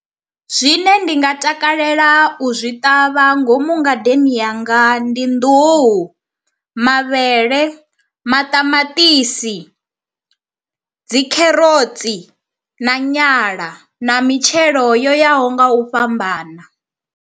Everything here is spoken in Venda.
Zwine ndi nga takalela u zwi ṱavha ngomu ngadeni yanga ndi nḓuhu, mavhele, maṱamaṱisi, dzi kherotsi na nyala na mitshelo yo yaho nga u fhambana.